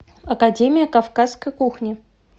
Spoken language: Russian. академия кавказской кухни